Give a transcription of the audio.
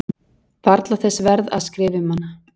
Varla þess verð að skrifa um hana.